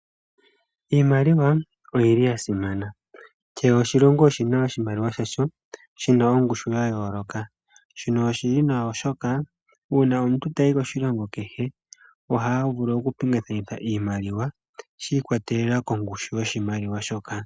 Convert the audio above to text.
Iimaliwa oyili yasimana, kehe oshilongo oshina iimaliwa yasho yina ongushu yayooloka. Shino oshili nwa oshoka uuna omuntu tayi koshilongo kehe ohaavulu oku pingakanitha iimaliwa shiikwatelela kongushu yoshimaliwa shoka.